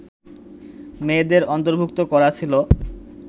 মেয়েদের অন্তর্ভূক্ত করা ছিল